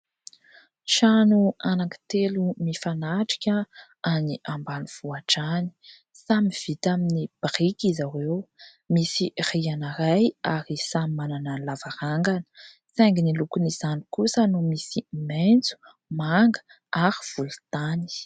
Trano anankitelo mifanatrika any ambanivohitra any. Samy vita amin'ny biriky izy ireo, misy rihana iray ary samy manana ny lavarangana saingy ny lokon'izany kosa no misy maitso, manga ary volontany.